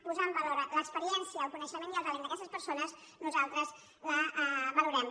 posar en valor l’experiència el coneixement i el talent d’aquestes persones nosaltres la valorem